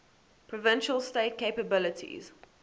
provincial state capabilities